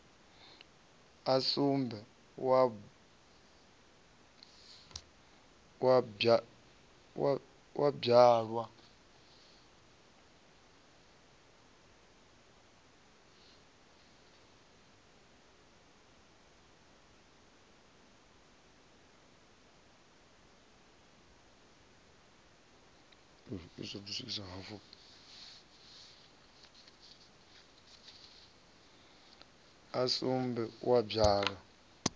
a sumbe a u bvalwa